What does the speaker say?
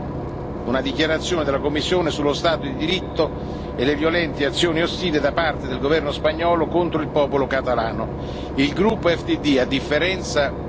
Il gruppo EFDD ha chiesto una dichiarazione della Commissione sullo Stato di diritto e le violente azioni ostili da parte del governo spagnolo contro il popolo catalano.